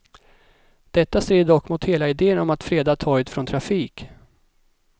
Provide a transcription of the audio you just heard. Detta strider dock mot hela idén om att freda torget från trafik.